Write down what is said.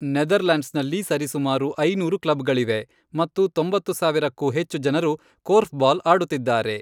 ನೆದರ್ಲ್ಯಾಂಡ್ಸ್ನಲ್ಲಿ ಸರಿಸುಮಾರು ಐನೂರು ಕ್ಲಬ್ಗಳಿವೆ ಮತ್ತು ತೊಂಬತ್ತು ಸಾವಿರಕ್ಕೂ ಹೆಚ್ಚು ಜನರು ಕೋರ್ಫ್ಬಾಲ್ ಆಡುತ್ತಿದ್ದಾರೆ.